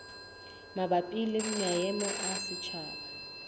mabapi le maemo a setjhaba